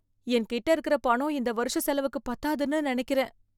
என்கிட்ட இருக்கிற பணம் இந்த வருஷச் செலவுக்கு பத்தாதுன்னு நினைக்கிறேன்